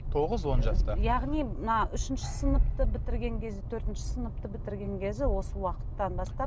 тоғыз он жастан яғни мына үшінші сыныпты бітірген кезі төртінші сынып бітірген кезі осы уақыттан бастап